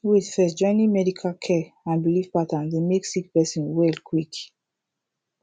wait first joining medical care and biliv patterns dey mek sik person well quick